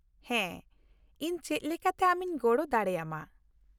ᱦᱮᱸ, ᱤᱧ ᱪᱮᱫ ᱞᱮᱠᱟᱛᱮ ᱟᱢᱤᱧ ᱜᱚᱲᱚ ᱫᱟᱲᱮ ᱟᱢᱟ ?